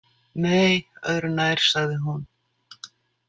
Nei, öðru nær, sagði hún.